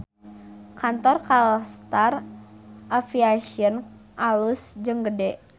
Kantor Kalstar Aviation alus jeung gede